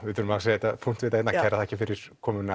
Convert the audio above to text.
við verðum að setja punktinn þarna kærar þakkir fyrir komuna